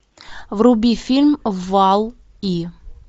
вруби фильм валл и